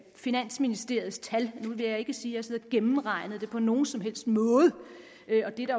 finansministeriets tal nu vil jeg ikke sige at siddet og gennemregnet det på nogen som helst måde